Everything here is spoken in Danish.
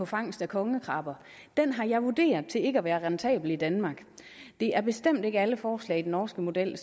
fangst af kongekrabber den har jeg vurderet til ikke at være rentabel i danmark det er bestemt ikke alle forslag i den norske model